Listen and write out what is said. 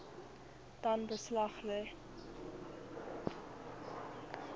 dan beslag lê